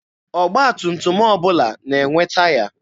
Ọgba tum tum ọbụla na-enwe taya.